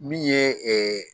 Min ye